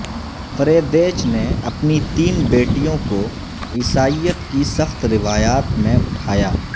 Friedrich نے اپنی تین بیٹیوں کو عیسائیت کی سخت روایات میں اٹھایا